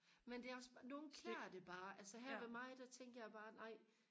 men det er også bare nogen klæder det bare altså her ved mig der tænkte jeg bare ej